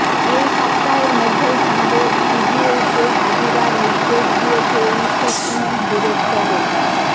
এই সপ্তাহের মধ্যেই তাঁদের সিজিওতে হাজিরার নির্দেশ দিয়েছে এনফোর্সমেন্ট ডিরেক্টরেট